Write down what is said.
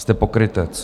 Jste pokrytec!